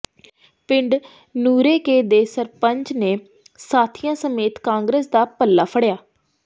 ਪਿੰਡ ਨੂਰੇ ਕੇ ਦੇ ਸਰਪੰਚ ਨੇ ਸਾਥੀਆਂ ਸਮੇਤ ਕਾਂਗਰਸ ਦਾ ਪੱਲਾ ਫੜਿਆ